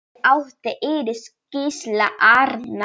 Fyrir átti Íris Gísla Arnar.